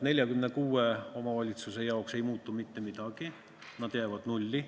46 omavalitsuse jaoks ei muutu mitte midagi, nad jäävad nulli.